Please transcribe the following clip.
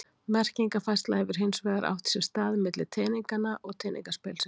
Merkingarfærsla hefur hins vegar átt sér stað milli teninganna og teningaspilsins.